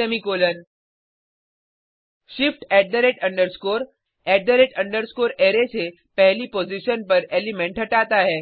semicolon shift array array से पहली position पर एलिमेंट हटाता है